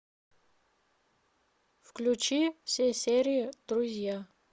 включи все серии друзья